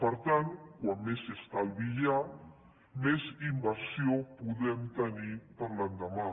per tant com més estalvi hi ha més inversió podem tenir per a l’endemà